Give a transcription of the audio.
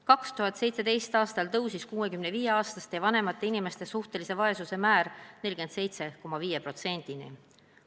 2017. aastal tõusis 65-aastaste ja vanemate inimeste suhtelise vaesuse määr 47,5%-ni.